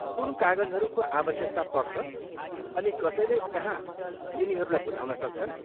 कुन कागजहरूको आवश्यकता पर्छ अनि कसैले कहाँ यिनीहरूलाई बुझाउन सक्छन्?